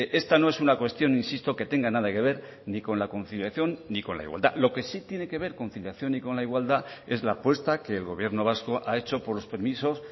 esta no es una cuestión insisto que tenga nada que ver ni con la conciliación ni con la igualdad lo que sí tiene que ver conciliación y con la igualdad es la apuesta que el gobierno vasco ha hecho por los permisos